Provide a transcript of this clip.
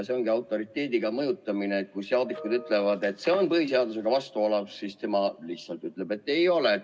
See ongi autoriteediga mõjutamine: kui saadikud ütlevad, et see on põhiseadusega vastuolus, siis tema lihtsalt ütleb, et ei ole.